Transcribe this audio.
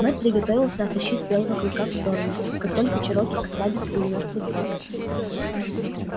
мэтт приготовился оттащить белого клыка в сторону как только чероки ослабит свою мёртвую хватку